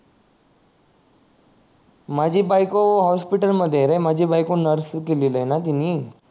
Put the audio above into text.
माझी बायको हॉस्पिटल मध्ये आहे रे माझी बायको नर्सिंग केलेली आहे न तिणी